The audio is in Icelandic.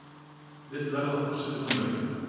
Vill verða forseti Bandaríkjanna